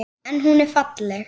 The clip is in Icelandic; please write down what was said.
En hún er falleg.